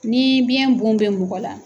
Ni biɲɛ bon bɛ mɔgɔ la.